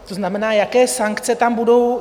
To znamená, jaké sankce tam budou?